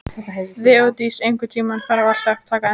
Þeódís, einhvern tímann þarf allt að taka enda.